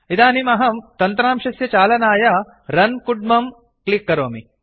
इदानीम् अहं तन्त्रांशस्य चालनाय रन् करणाय रुन् कुड्मं बटन् क्लिक् करोमि